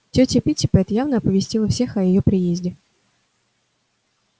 тётя питтипэт явно оповестила всех о её приезде